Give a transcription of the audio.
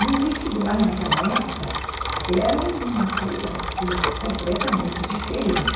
E o vestibular, naquela época, era uma coisa completamente diferente.